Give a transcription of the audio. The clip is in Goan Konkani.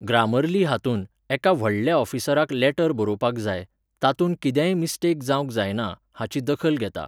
ग्रामर्ली हातूंत, एका व्हडल्या ऑफिसराक लॅटर बरोवपाक जाय, तातूंत कितेंय मिस्टेक जावंक जायना, हाची दखल घेता.